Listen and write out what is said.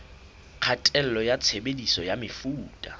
kgatello ya tshebediso ya mefuta